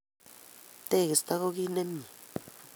Tegisto ko kit nemye.